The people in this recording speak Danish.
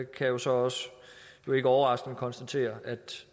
kan så også jo ikke overraskende konstatere at